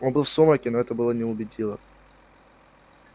он был в сумраке но было его не убедило